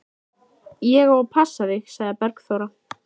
Ég á að passa þig, sagði Bergþóra.